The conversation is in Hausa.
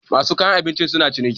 masu kayan abinci suna ciniki